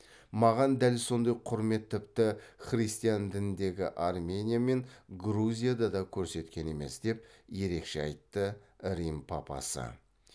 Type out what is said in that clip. маған дәл сондай құрмет тіпті христиан дініндегі армения мен грузияда да көрсеткен емес деп ерекше айтты рим папасы